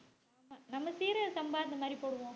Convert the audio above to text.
நம்ம சீரக சம்பா இந்த மாதிரி போடுவோம்.